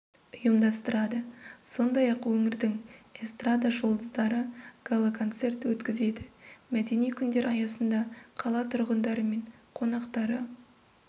ұйымдастырады сондай-ақ өңірдің эстрада жұлдыздары гала концерт өткізеді мәдени күндер аясында қала тұрғындары мен қонақтары